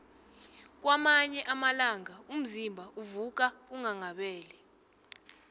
kwamanye amalanga umzimba uvuka unghanghabele